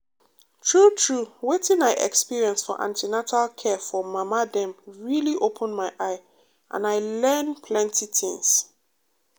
true true wetin i experience for an ten atal care for mama dem really open my eye and i learn plenty things.